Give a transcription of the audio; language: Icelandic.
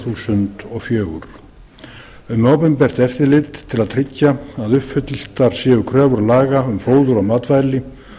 þúsund og fjögur um opinbert eftirlit til að tryggja að uppfylltar séu kröfur laga um fóður og matvæli